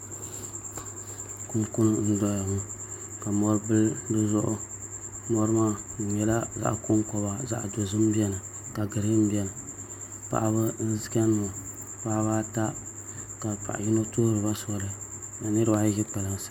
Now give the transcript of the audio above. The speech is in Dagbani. Kunkuni n doya ŋɔ ka mɔri bili dizuɣu mɔri maa di nyɛla zaɣ konkoba zaɣ dozim biɛni ka giriin biɛni paɣaba n chɛni ŋɔ paɣaba ata. Ka paɣa yino tuhuriba sɔli ni niraba ayi ʒiri kpalansi